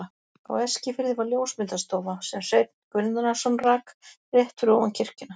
Á Eskifirði var ljósmyndastofa, sem Sveinn Guðnason rak, rétt fyrir ofan kirkjuna.